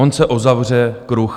On se uzavře kruh.